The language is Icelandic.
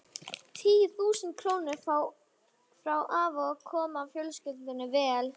Tíu þúsund krónurnar frá afa koma fjölskyldunni vel.